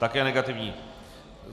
Také negativní.